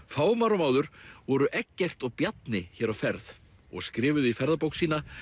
fáum árum áður voru Eggert og Bjarni hér á ferð og skrifuðu í Ferðabók sína